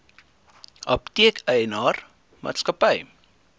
apteek eienaar maatskappy